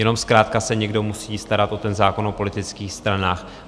Jenom zkrátka se někdo musí starat o ten zákon o politických stranách.